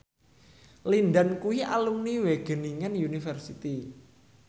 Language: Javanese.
Lin Dan kuwi alumni Wageningen University